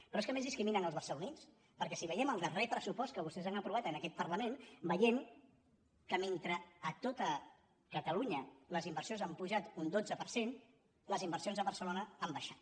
però és que a més discriminen els barcelonins perquè si veiem el dar·rer pressupost que vostès han aprovat en aquest parla·ment veiem que mentre a tot catalunya les inversions han pujat un dotze per cent les inversions a barcelo·na han baixat